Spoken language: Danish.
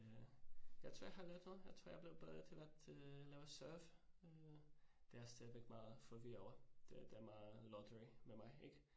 Øh jeg tror, jeg har lært noget, jeg tror jeg blev bedre til at øh lave serve øh. Det jeg stadigvæk meget forvirret over. Det det er meget lottery med mig ik